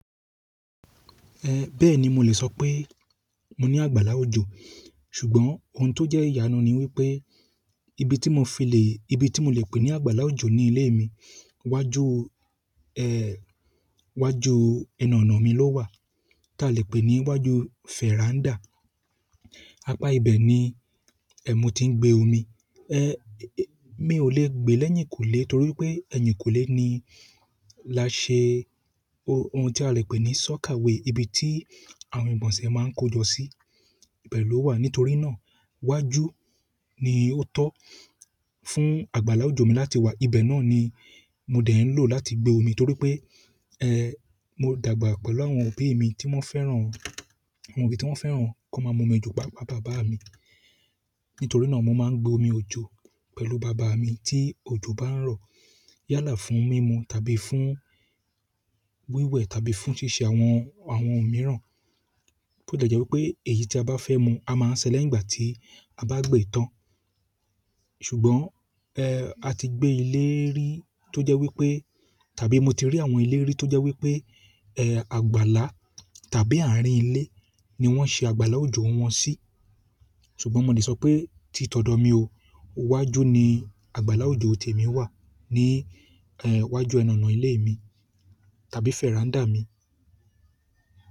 Bẹ́ẹ̀ni, mo lè sọ pé mo ní àgbàlá òjò. Ṣùgbọ́n ohun tó jẹ́ ìyanu ni wí pé ibi tí mo fi lè, ibi tí mo lè pè ní àgbàlá òjò ní ilé mi, iwájú, iwájú ẹnu ọ̀nà mi ló wà, tá lè pè ní iwájú fẹ́ràndá. Apá ibẹ̀ ni mo tí ń gbé omi. Mí ò lè gbé lẹ́yìnkùlé torí pé ẹ̀yìnkùlé ni la ṣe ohun tí a lè pè ní sọ́kàwe, ibi tí àwọn ìgbọ̀nsẹ̀ máa ń kojọ́ sí, ibẹ̀ ló wà. Nítorí náà wájú ni ó tọ́ fún àgbàlá òjò mi láti wà. Ibẹ̀ náà ni mo dẹ̀ ń lò láti gbé omi torí pé, mo dàgbà pẹ̀lú àwọn òbí mi tí wọ́n fẹ́ràn, àwọn òbí tí wọ́n fẹ́ràn kó máa mu omi òjò, pàápàá bàbá mi. Nítorí náà mo máa ń gbé omi òjò pẹ̀lú bàbá mi tí òjò bá ń rọ̀. Yálà fún mímu tàbí fún wíwẹ̀ tàbí fún ṣíṣe àwọn, àwọn ohun mìíràn. Ó dẹ̀ jẹ́ wípé èyí tí a bá fẹ́ mu á máa sẹ lẹ́yìn ìgbà tí a bá gbé e tán. Ṣùgbọ́n, a ti gbé ilé rí tó jẹ́ wípé tàbí mo ti rí àwọn ilé rí tó jẹ́ wí pé, àgbàlá tàbí àárín ilé ni wọ́n ṣe àgbàlá òjò wọn sí. Ṣùgbọ́n mo lè sọ pé tí tọ̀dọ̀ mi o, wájú ni àgbàlá òjò tèmi wà ní, wájú ẹnu ọ̀nà ilé mi tàbí fẹ́ràndá mi.